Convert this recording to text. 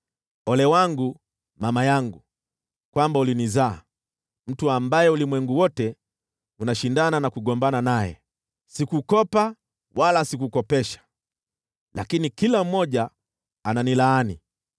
Ole wangu, mama yangu, kwamba ulinizaa, mtu ambaye ulimwengu wote unashindana na kugombana naye! Sikukopa wala sikukopesha, lakini kila mmoja ananilaani.